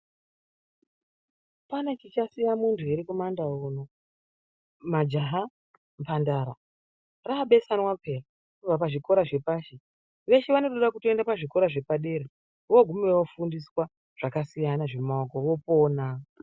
Pane chichasiya muntu ere mumandau uno majaha mhandara rabesanwa paa kubva pazvikora zvepashi vese vanotoda kutoenda pazvikora zvepadera voguma vofundiswa zvakasiyana zvemaoko vopona.